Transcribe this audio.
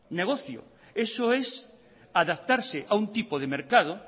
negocio eso es adaptarse a un tipo de mercado